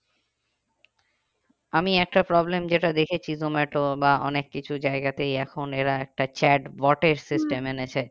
আমি একটা problem যেটা দেখেছি জোমাটো বা অনেক কিছু জায়গাতেই এখন এরা একটা chat bot এর